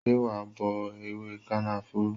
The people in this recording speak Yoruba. Ṣé wa bọ ewé kànáfùrú?